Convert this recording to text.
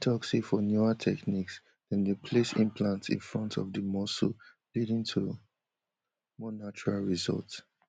she tok say for newer techniques dem dey place implants in front of di muscle leading to more natural results